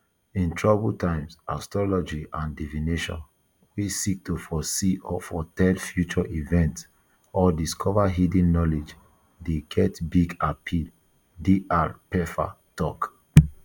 in troubled times astrology and divination [wey seek to foresee or foretell future events or discover hidden knowledge] dey get big appeal dr pfeffer tok